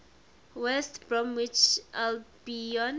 west bromwich albion